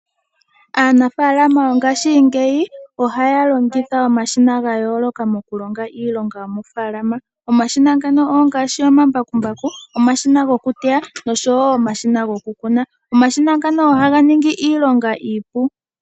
Aanafaalama mongashingeyi ohaya longitha omashina gayooloka mokulonga iilonga yomofaalama, omashina ngano ongaashi, omambakumbaku, omashina gokuteya nosho wo omashina gokukuna. Omashina ngano ohaga ningi iilonga iipu.